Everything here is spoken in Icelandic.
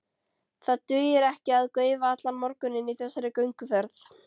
Það dugir ekki að gaufa allan morguninn í þessari gönguferð.